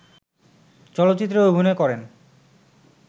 চলচ্চিত্রে অভিনয় করেন